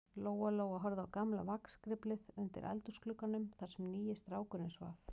Lóa-Lóa horfði á gamla vagnskriflið undir eldhúsglugganum, þar sem nýi strákurinn svaf.